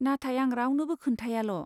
नाथाय आं रावनोबो खोन्थायाल'।